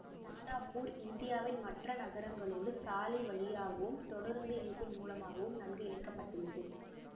தானாபூர் இந்தியாவின் மற்ற நகரங்களோடு சாலை வழியாகவும் தொடருந்து இணைப்பின் மூலமாகவும் நன்கு இணைக்க பட்டுள்ளது